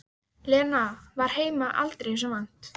Lena var heima aldrei þessu vant.